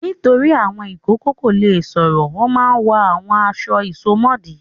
Nítorí àwọn ìkókó kò le sọ̀rọ̀ wọ́n máa ń wọ àwọn aṣọ ìsomọ́ọ̀dí.